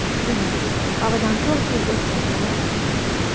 Demak, oradan to‘rt yil o‘tgan bo‘ladimi?